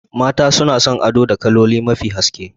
Mata suna son ado da kaloli mafi haske